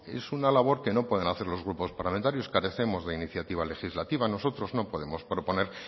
es una labor que no pueden hacer los grupos parlamentarios carecemos de iniciativa legislativa nosotros no podemos proponer